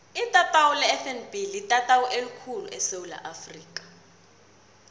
itatawu lefnb litatawu elikhulu khulu esewula afrika